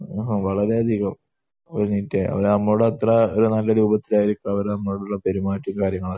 ആഹ്. വളരെയധികം നീറ്റാണ്. അവർ നമ്മളോട് അത്ര രൂപത്തിലായിരിക്കും അവർ നമ്മളോട് പെരുമാറ്റവും കാര്യങ്ങളും.